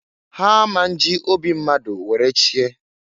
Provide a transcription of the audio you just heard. Ha a ma nji obi mmadu were chie.